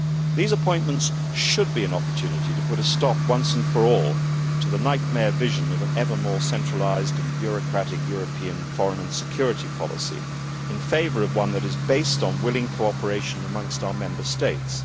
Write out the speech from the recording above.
These appointments should be an opportunity to put a stop, once and for all, to the nightmare vision of an ever more centralised and bureaucratic European foreign and security policy, in favour of one that is based on willing cooperation amongst our Member States.